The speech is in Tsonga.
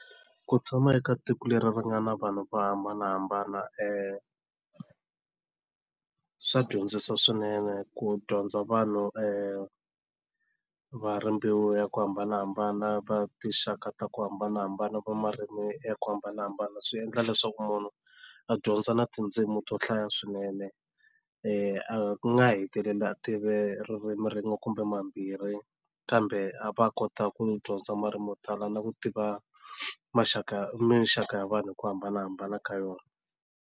Ku tshama eka tiko leri ri nga na vanhu vo hambanahambana swa dyondzisa swinene ku dyondza vanhu va ri mbewu ya ku hambanahambana va tinxaka ta ku hambanahambana va marimi ya ku hambanahambana swi endla leswaku munhu a dyondza na tindzimi to hlaya swinene a nga heteleli a tive ririmi rin'we kumbe mambirhi kambe a va a kota ku dyondza marimi mo tala na ku tiva maxaka minxaka ya vanhu hi ku hambanahambana ka yona.